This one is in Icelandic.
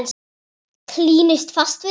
Klínist fast við það.